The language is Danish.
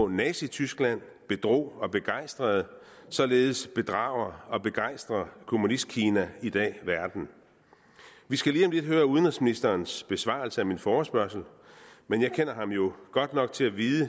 nazityskland bedrog og begejstrede således bedrager og begejstrer kommunistkina i dag verden vi skal lige om lidt høre udenrigsministerens besvarelse af min forespørgsel men jeg kender ham jo godt nok til at vide